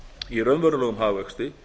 í raunverulegum hagvexti